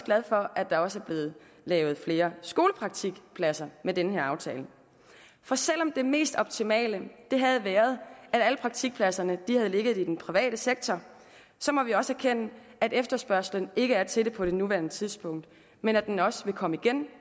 glad for at der også er blevet lavet flere skolepraktikpladser med den her aftale for selv om det mest optimale havde været at alle praktikpladser havde ligget i den private sektor må vi også erkende at efterspørgslen ikke er til det på nuværende tidspunkt men at den også vil komme igen